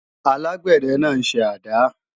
alágbẹ̀dẹ náà ń ṣe àdá